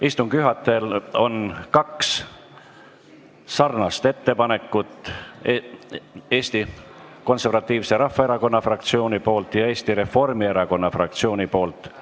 Istungi juhatajale on kaks sarnast ettepanekut: Eesti Konservatiivse Rahvaerakonna fraktsioonilt ja Eesti Reformierakonna fraktsioonilt.